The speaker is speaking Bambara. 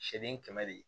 Seegin kɛmɛ de